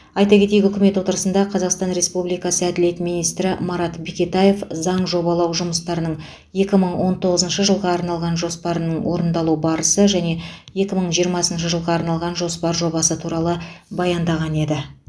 айта кетейік үкімет отырысында қазақстан республикасы әділет министрі марат бекетаев заң жобалау жұмыстарының екі мың он тоғызыншы жылға арналған жоспарының орындалу барысы және екі мың жиырмасыншы жылға арналған жоспар жобасы туралы баяндаған еді